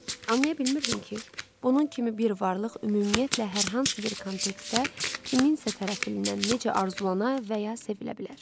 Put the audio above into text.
Anlaya bilmirdim ki, bunun kimi bir varlıq ümumiyyətlə hər hansı bir kontekstdə kimsə tərəfindən necə arzulana və ya sevilə bilər.